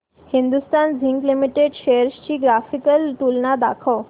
Hindustan zinc limited shares ची graphical तुलना दाखव